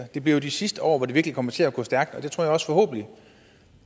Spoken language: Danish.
det bliver jo de sidste år hvor det virkelig kommer til at gå stærkt og